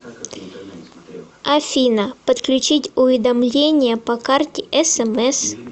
афина подключить уведомления по карте смс